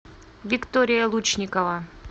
виктория лучникова